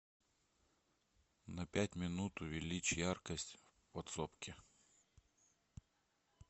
на пять минут увеличь яркость в подсобке